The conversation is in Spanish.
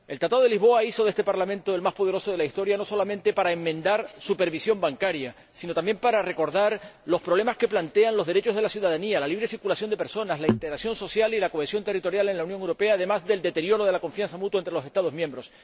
El Tratado de Lisboa hizo de este Parlamento el más poderoso de la historia, no solamente para enmendar la supervisión bancaria, sino también para recordar los problemas que plantean los derechos de la ciudadanía, la libre circulación de personas, la integración social y la cohesión territorial en la Unión Europea, además del deterioro de la confianza mutua entre los Estados miembros.